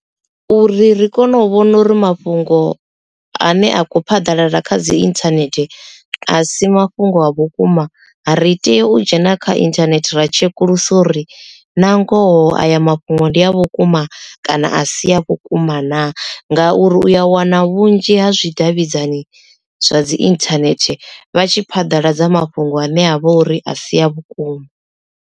Uri ri kone u vhona uri mafhungo ane a kho phaḓalala kha dzi internet a si mafhungo a vhukuma ri tea u dzhena kha internet ra tshekuluse uri na ngoho aya mafhungo ndi a vhukuma kana a si a vhukuma naa ngauri uya wana vhunzhi ha zwidavhidzani zwa dzi internet vha tshi phaḓaladza mafhungo ane a vha uri a si a vhukuma.